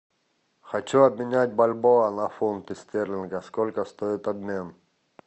хочу обменять бальбоа на фунты стерлингов сколько стоит обмен